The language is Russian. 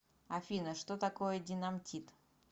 афина что такое динамтит